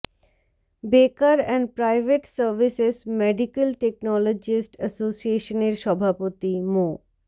বেকার and private services medical technologist অ্যাসোসিয়েশনের সভাপতি মো